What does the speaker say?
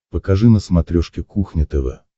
покажи на смотрешке кухня тв